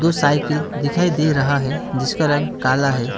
कुछ साइकिल दिखाई दे रहा है जिसका रंग काला है।